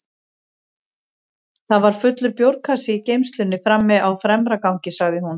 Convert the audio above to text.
Það var fullur bjórkassi í geymslunni frammi á fremra gangi, sagði hún.